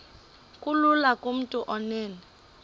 kulula kumntu onen